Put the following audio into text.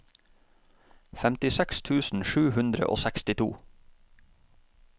femtiseks tusen sju hundre og sekstito